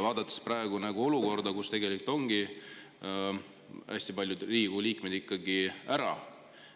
Vaadates praegust olukorda, kus ongi hästi paljud Riigikogu liikmed ikkagi ära,